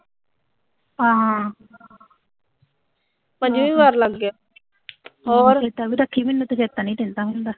ਚੇਤਾ ਵੀ ਰੱਖੀਂ ਤੂੰ ਮੈਨੂੰ ਤਾਂ ਚੇਤਾ ਨੀਂ ਰਹਿੰਦਾ ਹੁੰਦਾ।